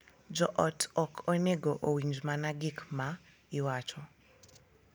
Jo ot ok onego owinj mana gik ma iwacho .